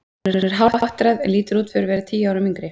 Hún er hálfáttræð en lítur út fyrir að vera tíu árum yngri.